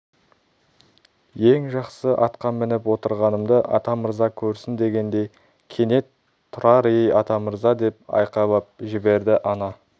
ең жақсы атқа мініп отырғанымды атамырза көрсін дегендей кенет тұрар ей атамырза деп айқайлап жіберді ана